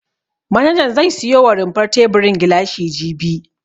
Manajan zai siyo wa rumfar teburin gilashi jibi.